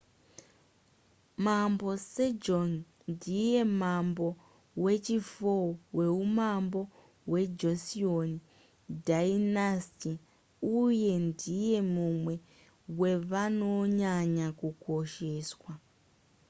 mambo sejong ndiye mambo wechi4 weumambo hwejoseon dynasty uye ndiye mumwe wevanonyanya kukosheswa